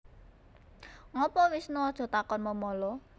Ngopo Wisnu Aja takon memala